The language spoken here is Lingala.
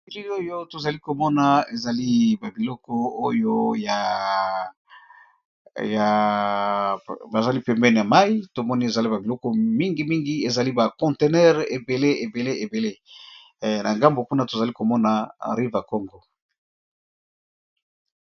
Elili oyo tozali komona ezali ba biloko oyo ya bazali pembeni ya mayi tomoni ezali ba biloko mingi mingi ezali ba contener ebele ebele ebele na ngambo kuna tozali komona River Congo.